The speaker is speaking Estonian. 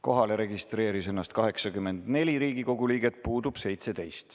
Kohalolijaks registreeris ennast 84 Riigikogu liiget, puudub 17.